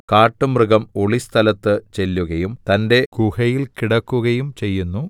കാട്ടുമൃഗം ഒളിസ്ഥലത്ത് ചെല്ലുകയും തന്റെ ഗുഹയിൽ കിടക്കുകയും ചെയ്യുന്നു